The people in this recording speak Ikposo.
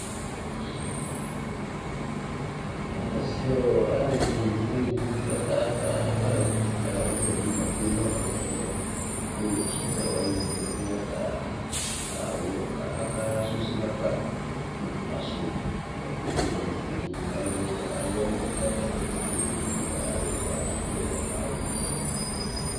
azɛ alu ɛdini du nu owu ka ba ka zɛvima tsué nɔ ɛmɛ ku sɔdza wani aya ka susi na fa ikpasu ka ké fué nu owu li alu wani bua ka ba dza ké fué nu owué lia alu ɛfua adu awu vɛ